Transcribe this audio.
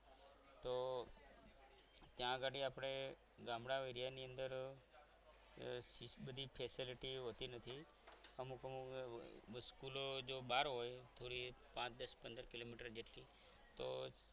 તો ત્યાં ઘડી આપણે ગામડા એરિયા ની અંદર એટલી બધી facilities હોતી નથી અમુક અમુક સ્કૂલો જો બહાર હોય થોડી પાંચ દસ પંદર કિલોમીટર જેટલી તો